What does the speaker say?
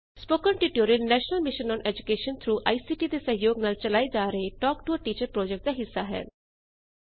spoken tutorial national mission on education through ICT ਦੇ ਸਹਿਯੋਗ ਨਾਲ ਚਲਾਏ ਜਾ ਰਹੇ talk to a teacher project ਦਾ ਹਿੱਸਾ ਹੈ